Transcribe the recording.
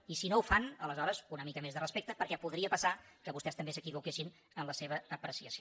i si no ho fan aleshores una mica més de respecte perquè podria passar que vostès també s’equivoquessin en la seva apreciació